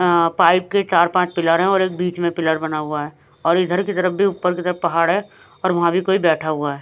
Pipe के चार-पांच pillar हैं और एक बीच में पिलर बना हुआ है और इधर की तरफ भी ऊपर की तरफ पहाड़ है और वहाँ भी कोई बैठा हुआ है।